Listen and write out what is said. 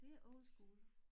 Det er old school